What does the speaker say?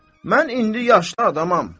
Mən indi yaşlı adamam.